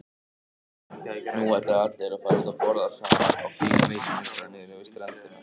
Nú ætluðu allir að fara út að borða saman á fínum veitingastað niðri við ströndina.